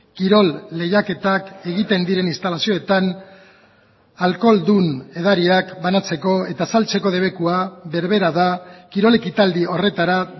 kirol lehiaketak egiten diren instalazioetan alkoholdun edariak banatzeko eta saltzeko debekua berbera da kirol ekitaldi horretara